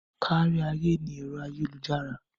Kárí ayé ni ẹ̀rọ ayélujára.